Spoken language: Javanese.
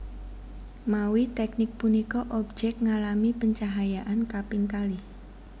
Mawi teknik punika objek ngalami pencahayaan kaping kalih